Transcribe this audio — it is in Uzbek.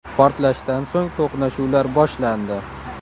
Portlashdan so‘ng to‘qnashuvlar boshlandi.